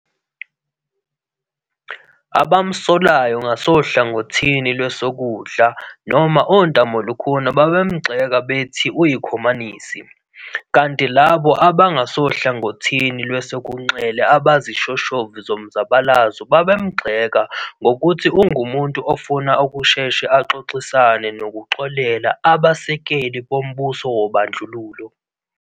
Abamsolayo ngasohlangothini lwesokudla noma ontamolukhuni babemgxeka bethi uyikhomanisi, kanti labo abangasohlangothini lwesinxele abazishoshovu zomzabalazo babemgxeka ngokuthi ongumuntu ofuna ukusheshe axoxisane nokuxolela abasekeli bombuso wobandlululo.